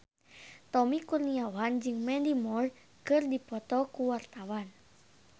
Tommy Kurniawan jeung Mandy Moore keur dipoto ku wartawan